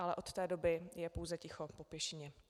Ale od té doby je pouze ticho po pěšině.